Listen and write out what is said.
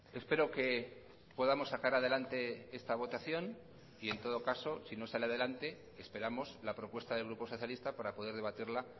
espero que podamos sacar adelante esta votación y en todo caso si no sale adelante esperamos la propuesta del grupo socialista para poder debatirla